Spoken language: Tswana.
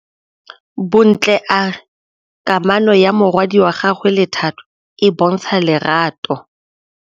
Bontle a re kamanô ya morwadi wa gagwe le Thato e bontsha lerato.